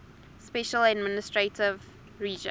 special administrative region